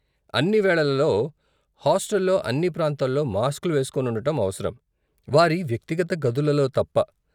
అన్ని వేళలలో, హాస్టల్లో అన్ని ప్రాంతాల్లో మాస్క్లు వేసుకోని ఉండటం అవసరం, వారి వ్యక్తిగత గదులలో తప్ప.